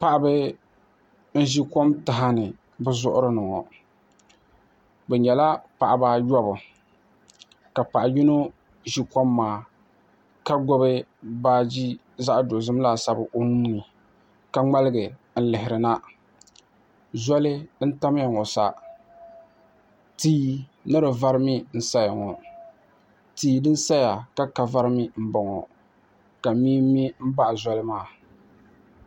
paɣaba n-ʒi kom taha ni bɛ zuɣuri ni ŋɔ bɛ nyɛla paɣaba ayɔbu ka paɣ'yino ʒi kom maa ka gbubi baaji zaɣ'dozim laasabu o nuu ni kaŋmaligi n-lihiri na zoli n-tamiya ŋɔ sa tia ni di vari mii n-saya ŋɔ tia din saya ka ka vari mii m-bɔŋɔ ka mee me m-baɣi zoli maa